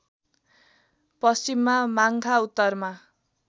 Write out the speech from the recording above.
पश्चिममा माङ्खा उत्तरमा